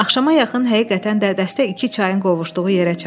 Axşama yaxın həqiqətən də dəstə iki çayın qovuşduğu yerə çatdı.